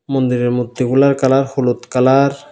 মন্দিরের মধ্যে হুলার কালার হলুদ ।